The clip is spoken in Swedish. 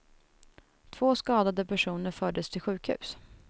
Två skadade personer fördes till sjukhus.